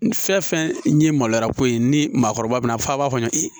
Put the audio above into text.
Fɛn fɛn ye maloya ko ye ni maakɔrɔba bɛna fɔ a b'a fɔ